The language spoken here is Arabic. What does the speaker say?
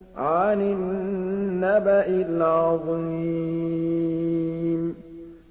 عَنِ النَّبَإِ الْعَظِيمِ